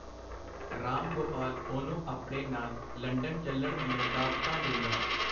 ਰਾਮ ਗੋਪਾਲ ਉਹਨੂੰ ਆਪਣੇ ਨਾਲ ਲੰਡਨ ਚਲਣ ਦੀਆਂ ਦਾਅਵਤਾਂ ਦੇਂਦਾ.